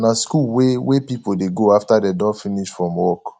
na school wey wey pipo dey go after dem don finish from work